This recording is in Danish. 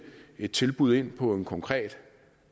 et tilbud ind på en konkret